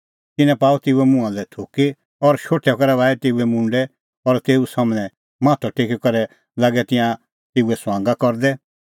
तिन्नैं पाअ तेऊए मुंहां लै थुकी और शोठै करै बाही तेऊए मुंडै और तेऊ सम्हनै माथअ टेकी करै लागै तिंयां तेऊए ठठै करदै